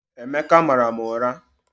Emeka mara m ụra